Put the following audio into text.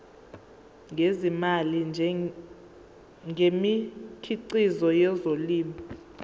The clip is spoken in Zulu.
ngezimali ngemikhiqizo yezolimo